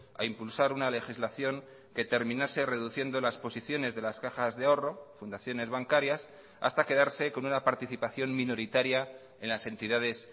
a impulsar una legislación que terminase reduciendo las posiciones de las cajas de ahorro fundaciones bancarias hasta quedarse con una participación minoritaria en las entidades